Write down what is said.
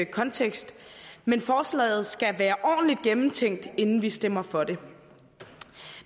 kontekst men forslaget skal være ordentlig gennemtænkt inden vi stemmer for det